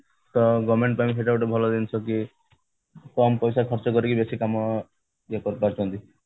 ତ government ପାଇଁ ସେଇଟା ଗୋଟେ ଭଲ ଜିନିଷ କି କମ ପଇସା ଖର୍ଚ୍ଚ କରିକି ବେଶୀ କାମ ଇଏ କରି ପାରୁଛନ୍ତି